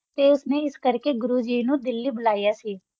ਤਾ ਉਸ ਨਾ ਆਸ ਕਰ ਰਾ ਗੁਰੋ ਜੀ ਨੂ ਦਿਆਲੀ ਬੋਲਾ ਸੀ